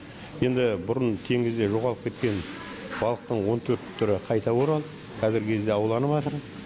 енді бұрын теңізде жоғалып кеткен балықтың он төрт түрі қайта оралып қазіргі кезде ауланыватыр